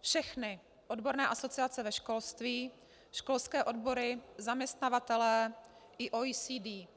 všechny odborné asociace ve školství, školské odbory, zaměstnavatelé i OECD.